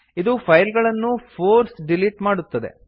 ಇದು ಫೈಲ್ ಗಳನ್ನು force delete ಮಾಡುತ್ತದೆ